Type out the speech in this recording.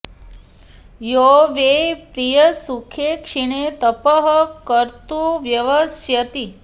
यो वै प्रिय सुखे क्षीणे तपः कर्तुं व्यवस्यति